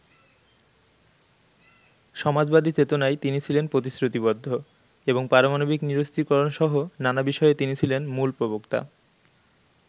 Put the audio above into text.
সমাজবাদী চেতনায় তিনি ছিলেন প্রতিশ্রুতিবদ্ধ এবং পারমাণবিক নিরস্ত্রীকরণসহ নানা বিষয়ে তিনি ছিলেন মূল প্রবক্তা।